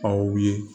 Aw ye